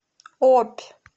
обь